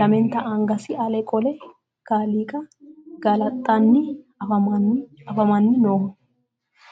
lamenta angasi ale qole kaaliiqa galaxxanni afamanni nooho.